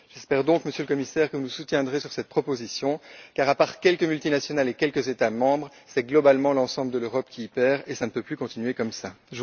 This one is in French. J'espère donc, Monsieur le Commissaire, que vous soutiendrez cette proposition, car à part quelques multinationales et quelques États membres, c'est globalement l'ensemble de l'Europe qui y perd, et cela ne peut plus continuer ainsi.